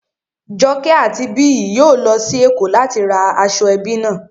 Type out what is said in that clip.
Joke àti Biyi yóò lọ sí Èkó láti ra aṣọ ẹbí náà